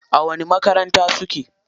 A wani makaranta suke?